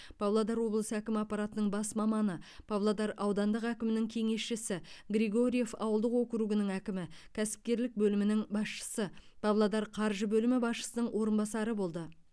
павлодар облысы әкімі аппаратының бас маманы павлодар аудандық әкімінің кеңесшісі григорьев ауылдық округінің әкімі кәсіпкерлік бөлімінің басшысы павлодар қаржы бөлімі басшысының орынбасары болды